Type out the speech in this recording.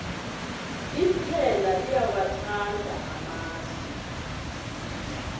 iphela liyawathanda amasi